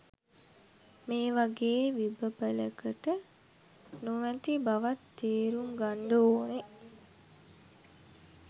මේ වගේ විබපළකට නොමැති බවත් තේරුම් ගන්ඩ ඕනේ